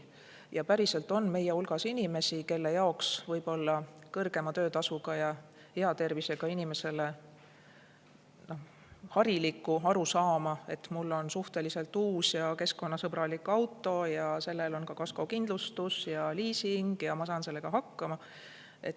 Ja päriselt on meie hulgas inimesi, kellel ei ole võib-olla kõrgema töötasuga ja hea tervisega inimese puhul harilikku arusaama, et mul on suhteliselt uus ja keskkonnasõbralik auto ja sellel on ka kaskokindlustus ja liising ja ma saan sellega hakkama.